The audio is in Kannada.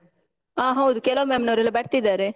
ಆ ಹೌದು, ಕೆಲವು ma'am ನವರೆಲ್ಲ ಬರ್ತಿದ್ದಾರೆ.